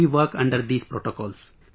We work under these protocols